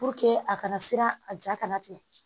a kana siran a ja kana tigɛ